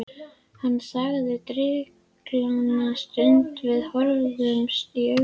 Hann þagði drykklanga stund og við horfðumst í augu.